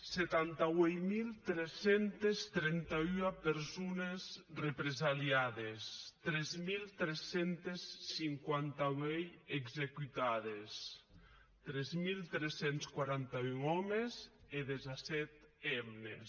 setanta ueit mil tres centes trenta ua persones represalhades tres mil tres cents i cinquanta vuit executades tres mil tres cents i quaranta un òmes e disset hemnes